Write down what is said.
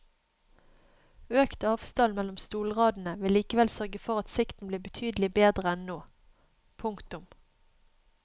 Økt avstand mellom stolradene vil likevel sørge for at sikten blir betydelig bedre enn nå. punktum